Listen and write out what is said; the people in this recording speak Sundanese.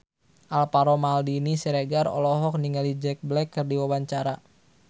Alvaro Maldini Siregar olohok ningali Jack Black keur diwawancara